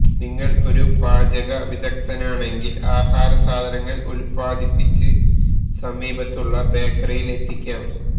നിങ്ങൾ ഒരു പാചക വിദഗ്ധയാണെങ്കിൽ ആഹാരസാധനങ്ങൾ ഉത്പാദിപ്പിച്ച് സമീപത്തുള്ള ബേക്കറിയിലെത്തിക്കാം